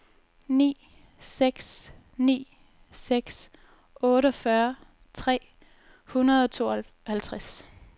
ni seks ni seks otteogfyrre tre hundrede og tooghalvtreds